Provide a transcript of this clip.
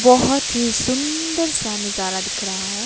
बहोत ही सुंदर सा नजारा दिख रहा है।